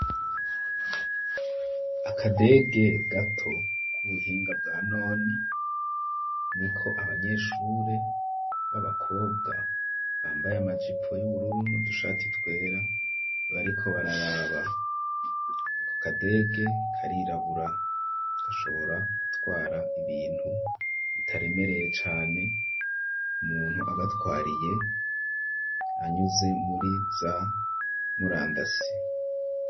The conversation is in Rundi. Akadege gato k'ubuhinga bwa none ni ko abanyeshure b'abakobwa bambaye amajipo y'ubururu no dushati twera bariko bararaba ko kadege karirabura gashobora gutwara ibintu bitaremereye cane umuntu agatwariye anyuze muriza murangasi.